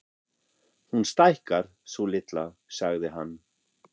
Hún stækkar, sú litla, sagði hann.